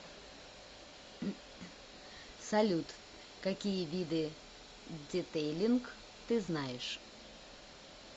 салют какие виды детейлинг ты знаешь